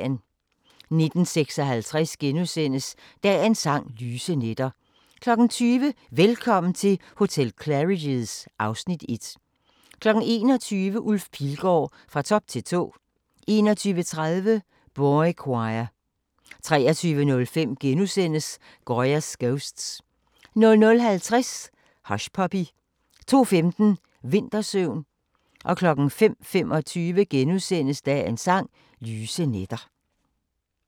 19:56: Dagens Sang: Lyse nætter * 20:00: Velkommen til hotel Claridge's (Afs. 1) 21:00: Ulf Pilgaard – Fra top til tå 21:30: Boychoir 23:05: Goya's Ghosts * 00:50: Hushpuppy 02:15: Vintersøvn 05:25: Dagens Sang: Lyse nætter *